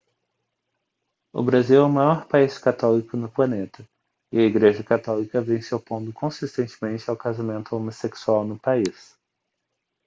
o brasil é o maior país católico no planeta e a igreja católica vem se opondo consistentemente ao casamento homossexual no país